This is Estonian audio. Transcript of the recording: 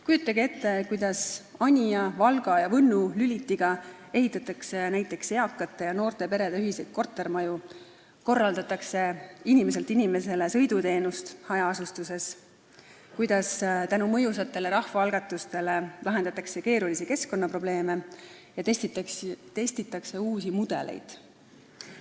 Kujutage ette kuidas Anija, Valga ja Võnnu Lülitiga ehitatakse näiteks eakate ja noorte perede ühiseid kortermaju, korraldatakse inimeselt inimesele sõiduteenust hajaasustusalal, kuidas tänu mõjusatele rahvaalgatustele lahendatakse keerulisi keskkonnaprobleeme ja testitakse uusi mudeleid.